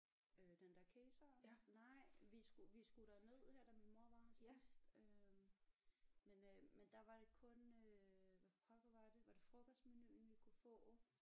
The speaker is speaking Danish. Øh den der Kesar nej vi skulle vi skulle derned her da min mor var her sidst øh men øh men der var det kun øh hvad pokker var det var det frokostmenuen vi kunne få